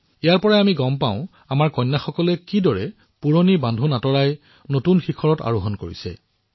ইয়াৰ দ্বাৰা এয়া অনুধাৱন কৰিব পাৰি যে কিদৰে কন্যাসকলে পুৰণি বান্ধোন ছিঙি নতুন উচ্চতাত অৱৰোহণ কৰিছে